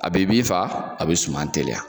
A be bin faga , a be suman teliya.